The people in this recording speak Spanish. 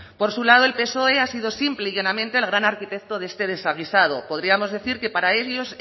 por su lado el psoe ha sido simple y llanamente el gran arquitecto de este desaguisado podríamos decir que para ellos